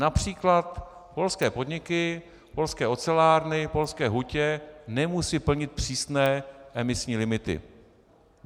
Například polské podniky, polské ocelárny, polské hutě nemusí plnit přísné emisní limity.